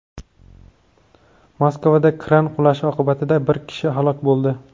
Moskvada kran qulashi oqibatida bir kishi halok bo‘ldi.